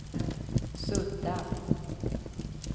sudda